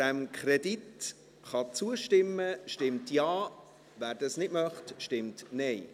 Wer dem Kredit zustimmen kann, stimmt Ja, wer das nicht möchte, stimmt Nein.